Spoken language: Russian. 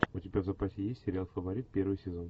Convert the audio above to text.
у тебя в запасе есть сериал фаворит первый сезон